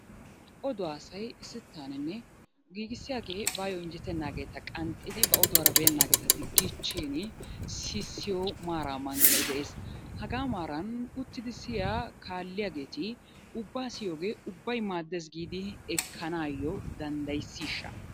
Oduwa asay sittaaninne giigissiyagee bayyo injjetennaageetaa qanxxidi ba oduwara beennaageeta diggiichchini sissiyo maaraa mankkay de'es. Hagaa maaran uttidi siyiya kaalliyageeti ubbaa siyiyogee ubbay maaddes giidi ekkanaayyo danddayissishsha?